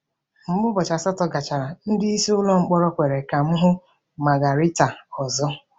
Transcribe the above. Mgbe ụbọchị asatọ gachara, ndị isi ụlọ mkpọrọ kwere ka m hụ Margaritha ọzọ.